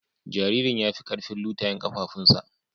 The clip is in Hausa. Jaririn ya fi karfin lutayen kafafunsa.